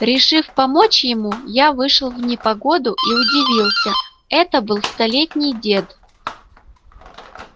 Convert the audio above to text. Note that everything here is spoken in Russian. решив помочь ему я вышел в непогоду и удивился это был столетний дед